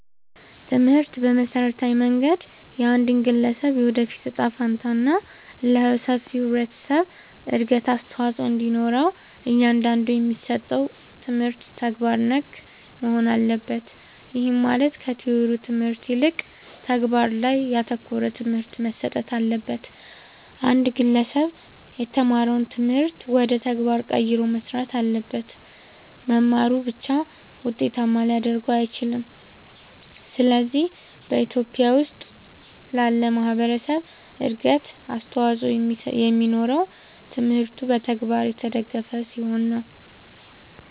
ትምህርት በመሠረታዊ መንገድ የአንድን ግለሠብ የወደፊት እጣ ፈንታ እና ለሠፊው የህብረተሠብ እድገት አስተዋፅኦ እንዲኖረው እያንዳንዱ የሚሠጠው ትምህርት ተግባር ነክ መሆን አለበት። ይህም ማለት ከቲወሪው ትምህርት ይልቅ ተግባር ላይ ያተኮረ ትምህርት መሠጠት አለበት። አንድ ግለሠብ የተማረውን ትምህርት ወደ ተግባር ቀይሮ መሥራት አለበት። መማሩ ብቻ ውጤታማ ሊያደርገው አይችልም። ስለዚህ በኢትዮጲያ ውስጥ ላለ ማህበረሠብ እድገት አስተዋፅኦ የሚኖረው ትምህርቱ በተግባር የተደገፈ ሲሆን ነው።